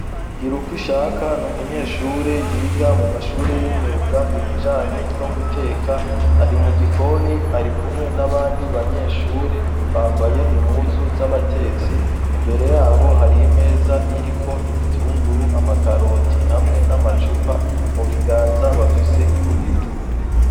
Girukushaka, n'umunyeshure yiga mu mashure y'imyuga ibijanye no guteka, ari mu gikoni, ari kumwe n'abandi banyeshure bambaye impuzu z'abatesi, imbere yabo hari imeza iriko ibitunguru, amakaroti hamwe n'amacupa, mu biganza bafise imbugita.